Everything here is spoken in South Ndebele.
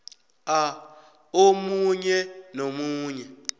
a omunye nomunye